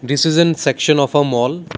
this is an section of a mall.